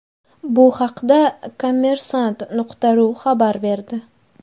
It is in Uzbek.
Bu haqda Kommersant.ru xabar berdi .